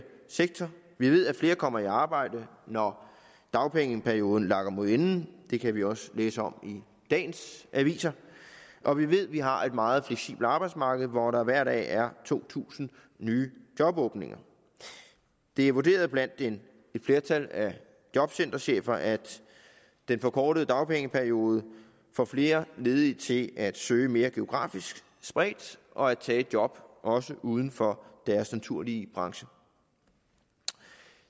sektor vi ved at flere kommer i arbejde når dagpengeperioden lakker mod enden det kan vi også læse om i dagens aviser og vi ved vi har et meget fleksibelt arbejdsmarked hvor der hver dag er to tusind nye jobåbninger det er vurderet af et flertal af jobcenterchefer at den forkortede dagpengeperiode får flere ledige til at søge mere geografisk spredt og at tage et job også uden for deres naturlige branche